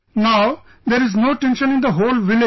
Now there is no tension in the whole village